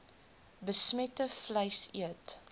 besmette vleis eet